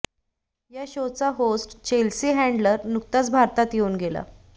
या शो चा host Chelsea Handler नुकताच भारतात येऊन गेला